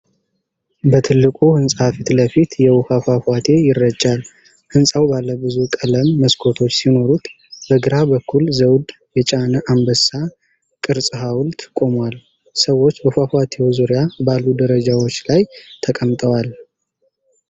በትልቁ ህንፃ ፊት ለፊት የውሃ ፏፏቴ ይረጫል። ህንፃው ባለብዙ ቀለም መስኮቶች ሲኖሩት በግራ በኩል ዘውድ የጫነ አንበሳ ቅርጽ ሐውልት ቆሟል። ሰዎች በፏፏቴው ዙሪያ ባሉ ደረጃዎች ላይ ተቀምጠዋል።